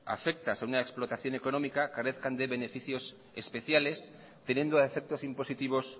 afectas a una explotación económica carezcan de beneficios especiales teniendo a efectos impositivos